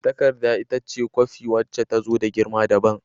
Takarda ita ce kwafi wacce ta zo da girma dabam.